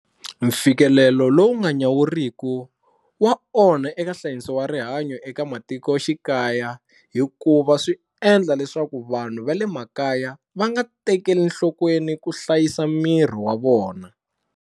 Mfikelelo lowu nga nyawuriku wa onha eka nhlayiso wa rihanyo eka matikoxikaya hikuva swi endla leswaku vanhu va le makaya va nga tekeli enhlokweni ku hlayisa miri wa vona.